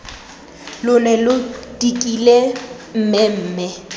lo ne lo dikile mmemme